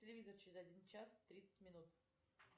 телевизор через один час тридцать минут